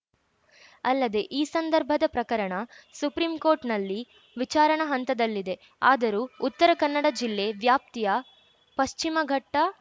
ಅಲ್ಲದೆ ಈ ಸಂದರ್ಬದ ಪ್ರಕರಣ ಸುಪ್ರೀಂಕೋರ್ಟ್‌ನಲ್ಲಿ ವಿಚಾರಣಾ ಹಂತದಲ್ಲಿದೆ ಆದರೂ ಉತ್ತರ ಕನ್ನಡ ಜಿಲ್ಲೆ ವ್ಯಾಪ್ತಿಯ ಪಶ್ಚಿಮಘಟ್ಟ